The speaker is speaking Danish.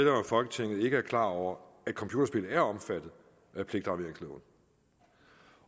folketinget ikke er klar over at computerspil er omfattet af pligtafleveringsloven